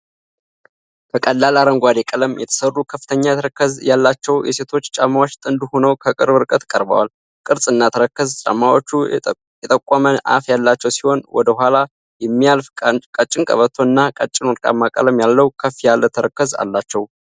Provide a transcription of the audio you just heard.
ከቀላል አረንጓዴ ቀለም የተሠሩ ከፍተኛ ተረከዝ ያላቸው የሴቶች ጫማዎች ጥንድ ሆነው ከቅርብ ርቀት ቀርበዋል። ቅርጽ እና ተረከዝ: ጫማዎቹ የጠቆመ አፍ ያላቸው ሲሆን፣ ወደ ኋላ የሚያልፍ ቀጭን ቀበቶ እና ቀጭን ወርቃማ ቀለም ያለው ከፍ ያለ ተረከዝ አላቸው።